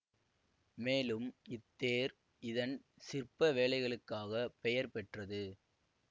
மேலும் இத்தேர் இதன் சிற்ப வேலைகளுக்காக பெயர் பெற்றது